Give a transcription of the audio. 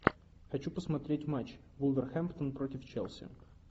хочу посмотреть матч вулверхэмптон против челси